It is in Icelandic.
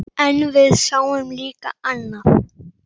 En við sáum líka annað.